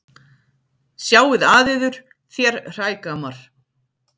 Sjáið að yður þér hrægammar.